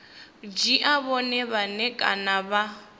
dzhia vhone vhane kana vha